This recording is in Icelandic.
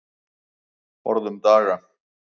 Forðum daga.